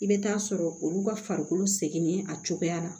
I bɛ taa sɔrɔ olu ka farikolo sɛgɛnnen a cogoya la